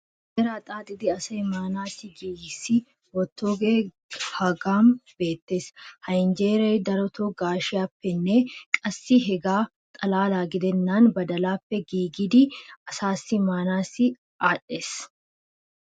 injjeeraa xaaxxidi asay maanaassi giigissi wottoogee hagamn beetees. ha injjeeray darotoo gaashiyaappenne qassi hegaa xalaala giddenan badalaappe giigidi asaassi maanaassi aadhdhees.